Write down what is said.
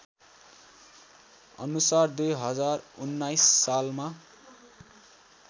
अनुसार २०१९ सालमा